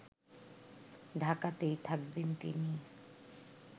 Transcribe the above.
ঢাকাতেই থাকবেন তিনি